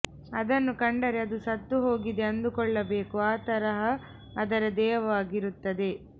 ಅದನ್ನು ಕಂಡರೆ ಅದು ಸತ್ತು ಹೋಗಿದೆ ಅಂದುಕೊಳ್ಳಬೇಕು ಆ ತರಹ ಅದರ ದೇಹವಾಗಿರುತ್ತದೆ